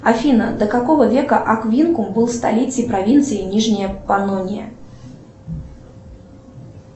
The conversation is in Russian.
афина до какого века аквинкум был столицей провинции нижняя понония